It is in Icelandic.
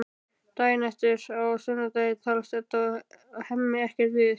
Daginn eftir, á sunnudegi, talast Edda og Hemmi ekkert við.